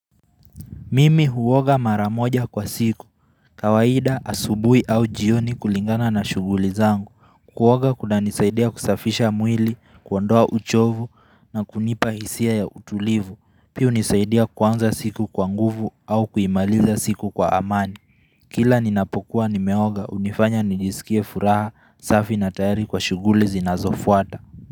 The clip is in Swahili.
Mimi huoga maramoja kwa siku, kawaida asubui au jioni kulingana na shuguli zangu, kuoga kuna nisaidia kusafisha mwili, kuondoa uchovu na kunipa hisia ya utulivu, pia hunisaidia kuanza siku kwa nguvu au kuimaliza siku kwa amani, kila ninapokuwa nimeoga hunifanya nijisikie furaha, safi na tayari kwa shuguli zinazofuata.